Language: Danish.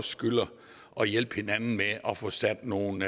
skylder at hjælpe hinanden med at få sat nogle